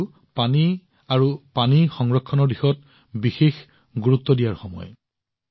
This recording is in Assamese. এইটো পানী আৰু পানী সংৰক্ষণৰ দিশত বিশেষ প্ৰচেষ্টা কৰাৰ সময়